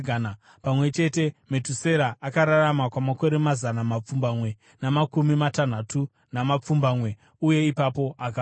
Pamwe chete, Metusera akararama kwamakore mazana mapfumbamwe namakumi matanhatu namapfumbamwe, uye ipapo akafa.